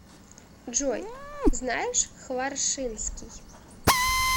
джой знаешь хваршинский